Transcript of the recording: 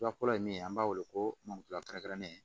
Fila kɔrɔ ye min ye an b'a wele ko maloku tula kɛrɛnkɛrɛnnen